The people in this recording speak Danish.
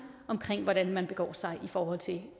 om hvordan man begår sig i forhold til